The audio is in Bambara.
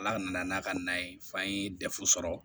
Ala nana n'a ka na ye f'an ye dɛfu sɔrɔ